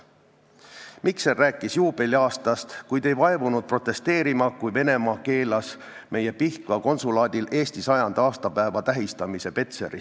Mikser rääkis juubeliaastast, kuid ei vaevunud protesteerima, kui Venemaa keelas meie Pihkva konsulaadil Eesti 100. aastapäeva tähistamise Petseris.